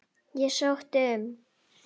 Ég sótti um.